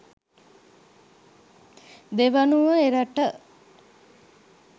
දෙවනුව එරට